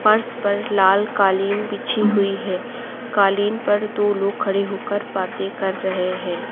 फर्श पर लाल कालीन बिछी हुई है कालीन पर दो लोग खड़े होकर बातें कर रहे हैं।